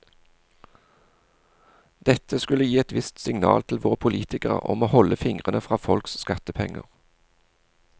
Dette skulle gi et visst signal til våre politikere om å holde fingrene fra folks skattepenger.